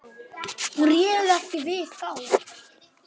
Hún réð ekki við þá.